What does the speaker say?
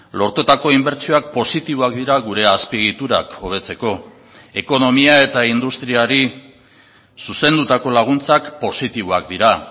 lortutako inbertsioak positiboak dira gure azpiegiturak hobetzeko ekonomia eta industriari zuzendutako laguntzak positiboak dira